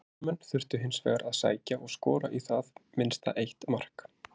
Heimamenn þurftu hins vegar að sækja og skora í það minnsta eitt mark.